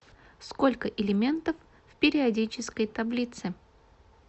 сколько элементов в периодической таблице